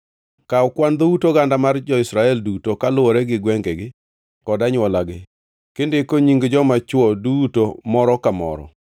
“Kaw kwan dhout oganda mar jo-Israel duto kaluwore gi gwengegi kod anywolagi, kindiko nying joma chwo duto moro ka moro.